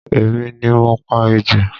Èmi ni mo pa ejò